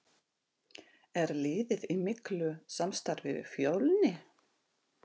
Er liðið í miklu samstarfi við Fjölni?